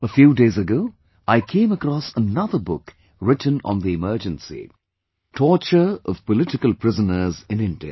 A few days ago I came across another book written on the Emergency, Torture of Political Prisoners in India